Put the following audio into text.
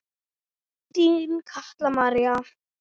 Þín Kalla María.